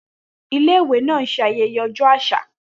Ile iwe náà ń ṣe ayẹyẹ ọjọ́ àṣà